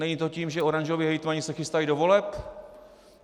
Není to tím, že oranžoví hejtmani se chystají do voleb?